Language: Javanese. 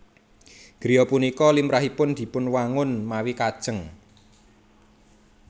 Griya punika limrahipun dipunwangun mawi kajéng